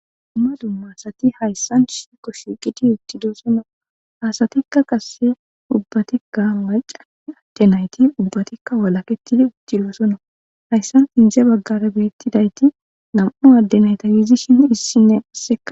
Dumma dumma asati hayssan shiqo shiqidi uttidoosono. Hasatikka qasse ubbatikka macca adde nayti ubbatikka walaketidi uttiloosono. hayssan indze baggare beettidayti nam7u adde nayta yuzishin issinne seka.